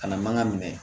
Kana mankan minɛ